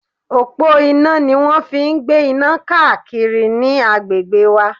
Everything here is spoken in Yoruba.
Òpó iná ni wón ń fi ń gbé iná káàkiri àwọn agbègbè wa.